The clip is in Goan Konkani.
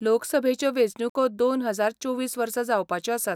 लोकसभेच्यो वेंचणूको दोन हजार चोवीस वर्सा जावपाच्यो आसात.